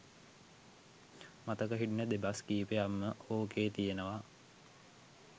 මතක හිටින දෙබස් කීපයක් ම ඕකේ තියනවා.